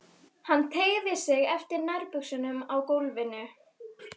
Hann teygði sig eftir nærbuxunum á gólfinu.